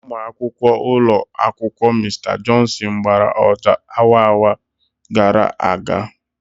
Ụmụ akwụkwọ ụlọ akwụkwọ Mr Johnson gbara ọjà awa awa gara aga.